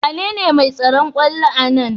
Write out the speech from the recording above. Wanene mai tsaron kwallon a Nan?